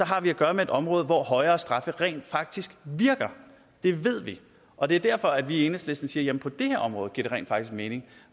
har vi at gøre med et område hvor højere straffe rent faktisk virker det ved vi og det er derfor at vi i enhedslisten siger at på det her område giver det rent faktisk mening